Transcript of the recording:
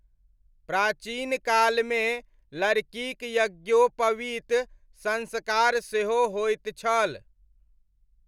प्राचीनकालमे लड़कीक यज्ञोपवीत संस्कार सेहो होइत छल।